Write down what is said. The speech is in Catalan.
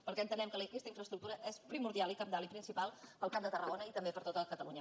perquè entenem que aquesta infraes·tructura és primordial i cabdal i principal per al camp de tarragona i també per a tot catalunya